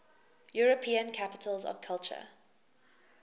european capitals of culture